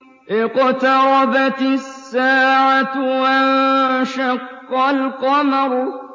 اقْتَرَبَتِ السَّاعَةُ وَانشَقَّ الْقَمَرُ